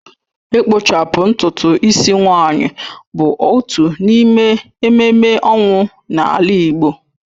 Ịkpụchapụ ntutu ịsị nwaanyị bụ otu n’ime ememme ọnwụ n’ala Igbo